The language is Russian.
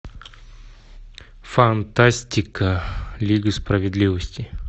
фантастика лига справедливости